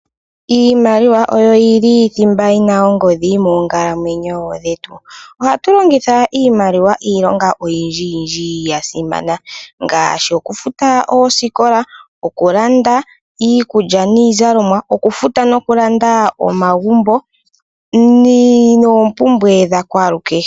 Iimaliwa oyo yili thimba ena ongodhi moonkalamwenyo dhetu, ohatu longitha iimaliwa iilonga oyindji yindji ya simana ngashi okufuta osikola, okulanda iikulya niizalomwa, okufuta nokulanda omagumbo nopumbwe dha kwalukehe.